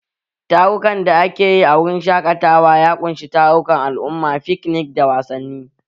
Tarukan da ake yi a wurin shaƙatawa ya ƙunshi tarukan al'umma, fiknik, da wasanni.